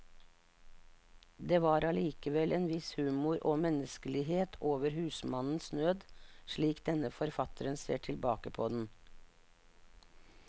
Det var allikevel en viss humor og menneskelighet over husmannens nød, slik denne forfatteren ser tilbake på den.